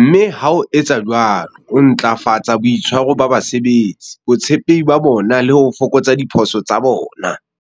mme ha o etsa jwalo, o ntlafatsa boitshwaro ba basebeletsi, botshepehi ba bona le ho fokotsa diphoso tsa bona.